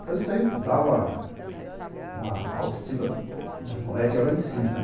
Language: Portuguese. Então, isso aí dava uma autoestima dos moleques lá em cima, né.